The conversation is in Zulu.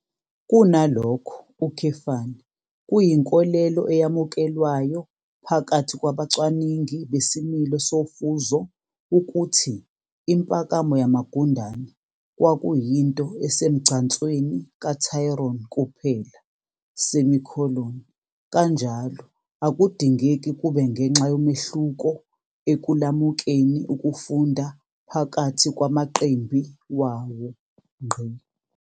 Kunalokho, kuyinkolelo eyamukelwayo phakathi kwabacwaningi besimilo sofuzo ukuthi impakamo yamagundane kwakuyinto esemgcansweni kaTryon kuphela, kanjalo akudingeki kube ngenxa yomehluko ekulamukeni ukufunda phakathi kwamaqembi wawo.